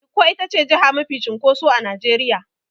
Ikko itace jiha mafi cunkoso a Nigeria.